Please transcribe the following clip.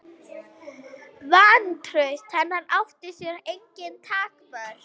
Vantraust hennar átti sér engin takmörk.